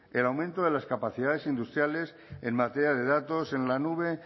el aumento de las capacidades industriales en materia de datos en la nube